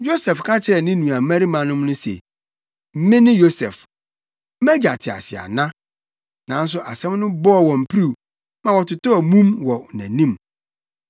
Yosef ka kyerɛɛ ne nuabarimanom no se, “Mene Yosef! Mʼagya te ase ana?” Nanso asɛm no bɔɔ wɔn piriw ma wɔtotɔɔ mum wɔ nʼanim.